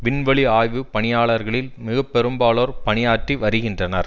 விண்வெளி ஆய்வு பணியாளர்களில் மிக பெரும்பாலோர் பணியாற்றி வருகின்றனர்